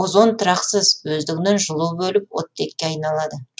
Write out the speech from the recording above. озон тұрақсыз өздігінен жылу бөліп оттекке айналады